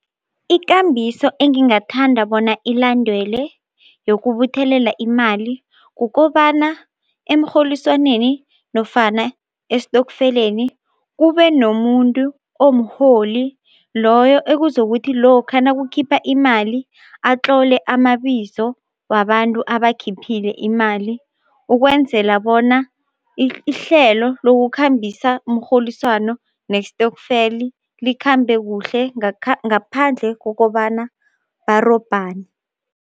Ikambiso engingathanda bona ilandwelwe yokubuthelela imali kukobana emrholiswaneni nofana esitokfeleni kube nomuntu omuholi loyo ekuzokuthi lokha nakukhipha imali atlole amabizo wabantu abakhiphile imali ukwenzela bona ihlelo lokukhambisa umrholiswano nesitokfeli likhambe kuhle ngaphandle kokobana barobhane.